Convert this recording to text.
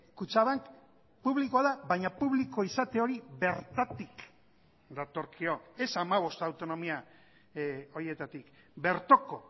kutxabank publikoa da baina publiko izate hori bertatik datorkio ez hamabost autonomia horietatik bertoko